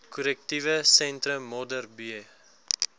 korrektiewe sentrum modderbee